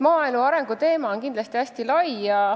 Maaelu arengu teema on kindlasti hästi lai.